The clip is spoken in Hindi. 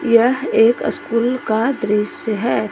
यह एक स्कूल का दृश्य है।